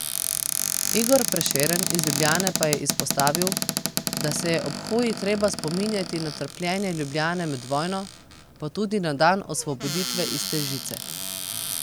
Igor Prešeren iz Ljubljane pa je izpostavil, da se je ob hoji treba spominjati na trpljenje Ljubljane med vojno pa tudi na dan osvoboditve iz te žice.